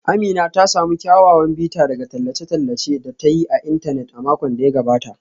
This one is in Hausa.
Amina ta samu kyawawan bita daga tallace-tallacen da ta yi a intanet a makon da ya gabata.